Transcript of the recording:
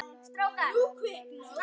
En kerfið getur gert fullt.